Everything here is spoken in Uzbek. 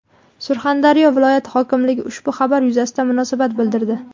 Surxondaryo viloyati hokimligi ushbu xabar yuzasidan munosabat bildirdi .